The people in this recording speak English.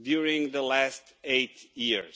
during the last eight years.